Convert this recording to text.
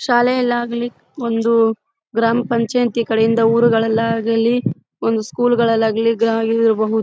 ಶಾಲೆಯಲ್ಲಾಗ್ಲಿ ಒಂದು ಗ್ರಾಮಪಂಚಾಯತಿ ಕಡೆಯಿಂದ ಊರುಗಳಾಗ್ಲಿಒಂದು ಸ್ಕೂಲ್ ಗಳಾಗ್ಲಿ --